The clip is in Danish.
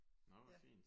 Nå hvor fint